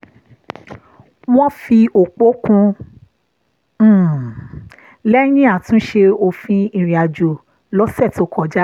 wọ́n fi òpò kún un lẹ́yìn àtúnṣe òfin ìrìnàjò lọ́sẹ̀ tó kọjá